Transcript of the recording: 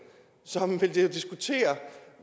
som vil diskutere